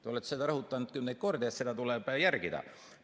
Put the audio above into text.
Te olete seda rõhutanud kümneid kordi, et seda tuleb järgida.